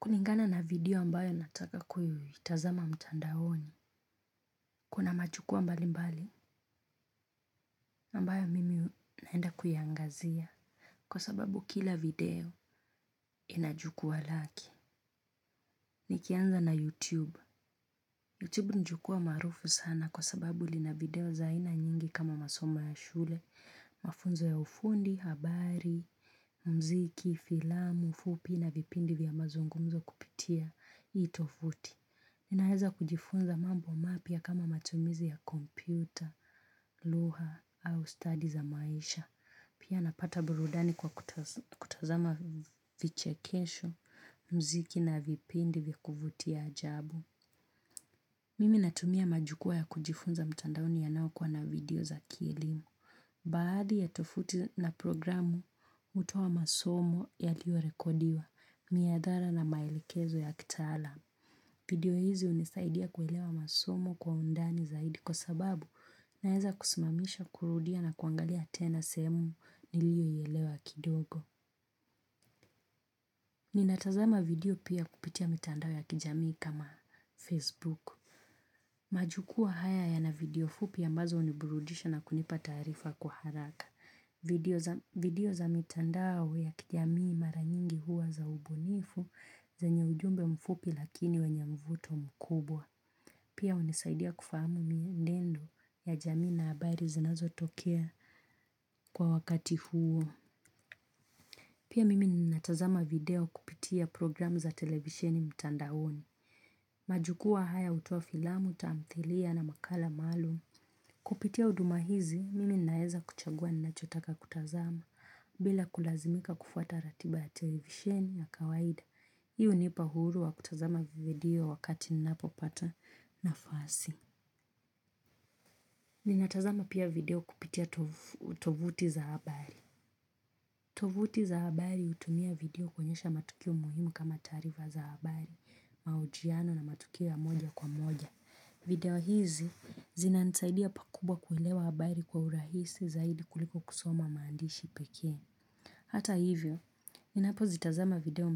Kulingana na video ambayo nataka kuitazama mtandaoni, kuna majukua mbali mbali ambayo mimi naenda kuyaangazia kwa sababu kila video ina jukua lake. Nikianza na YouTube. YouTube ni jukwaa maarufu sana kwa sababu lina video aina nyingi kama masomo ya shule mafunzo ya ufundi habari mziki filamu fupi na vipindi vya mazungumzo kupitia hii tovuti. Ninaeza kujifunza mambo mapya kama matumizi ya kompyuta, lugha au stadi za maisha. Pia napata burudani kwa kutazama vichekesho, mziki na vipindi vya kuvutia ajabu. Mimi natumia majukua ya kujifunza mtandaoni yanayokuwa na video za kielimu. Baadhi ya tovuti na programu hutoa masomo yaliorekodiwa miathara na maelekezo ya kitaalam. Video hizi hunisaidia kuelewa masomo kwa undani zaidi kwa sababu naeza kusimamisha kurudia na kuangalia tena sehemu nilioielewa kidogo. Ninatazama video pia kupitia mitandao ya kijamii kama Facebook. Majukwa haya yana video fupi ambazo huniburudisha na kunipa tarifa kwa haraka. Video za mitandao ya kijamii mara nyingi huwa za ubunifu zenye ujumbe mfupi lakini wenye mvuto mkubwa. Pia hunisaidia kufahamu mienendo ya jamii na habari zinazo tokea kwa wakati huo. Pia mimi ninatazama video kupitia programu za televisheni mtandaoni. Majukua haya hutoa filamu, tamthilia na makala maalum. Kupitia huduma hizi, mimi naeza kuchagua ninachotaka kutazama bila kulazimika kufuata ratiba ya televisheni ya kawaida. Hii hunipa uhuru wa kutazama video wakati ninapo pata nafasi. Ninatazama pia video kupitia tovuti za habari. Tovuti za habari hutumia video kuonyesha matukio muhimu kama tarifa za habari, mahojiano na matukio ya moja kwa moja. Video hizi zinanisaidia pakubwa kuilewa habari kwa urahisi zaidi kuliko kusoma maandishi pekee. Hata hivyo, ninapo zitazama video